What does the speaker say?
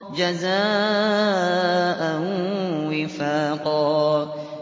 جَزَاءً وِفَاقًا